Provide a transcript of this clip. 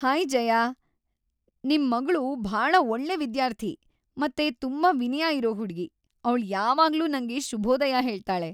Hi Jaya, ನಿಮ್ ಮಗ್ಳು ಭಾಳ ಒಳ್ಳೆ ವಿದ್ಯಾರ್ಥಿ ಮತ್ತೆ ತುಂಬಾ ವಿನಯ ಇರೋ ಹುಡ್ಗಿ. ಅವ್ಳು ಯಾವಾಗ್ಲೂ ನಂಗೆ ಶುಭೋದಯ ಹೇಳ್ತಾಳೆ.